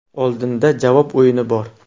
Oldinda javob o‘yini bor.